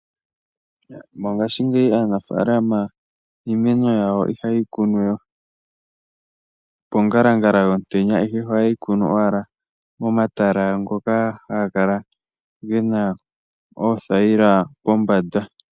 Mongashingeyi aanafalama iimeno yawo ihaye yi kunu we pongalangala yomutenya, ihe ohaye yi kunu owala momatala ngoka haga kala gena oothayila pombanda.